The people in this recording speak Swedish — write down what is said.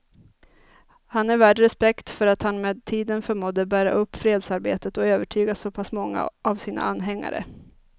Han är värd respekt för att han med tiden förmådde bära upp fredsarbetet och övertyga så pass många av sina anhängare.